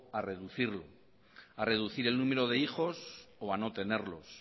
a reducirlo a reducir el número de hijos o a no tenerlos